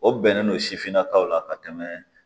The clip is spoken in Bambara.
O bɛnnen don sifinnakaw la ka tɛmɛ